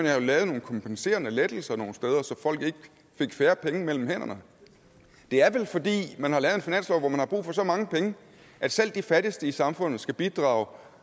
have lavet nogle kompenserende lettelser nogle steder så folk ikke fik færre penge mellem hænderne det er vel fordi man har lavet en finanslov hvor man har brug for så mange penge at selv de fattigste i samfundet skal bidrage